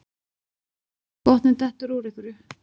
Botninn dettur úr einhverju